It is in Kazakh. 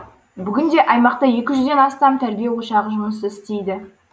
бүгінде аймақта екі жүзден астам тәрбие ошағы жұмыс істейді